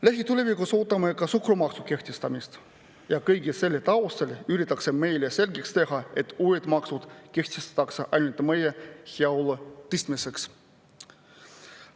Lähitulevikus on oodata ka suhkrumaksu ja kõige selle taustal üritatakse meile selgeks teha, et uued maksud kehtestatakse ainult meie heaolu tõstmiseks.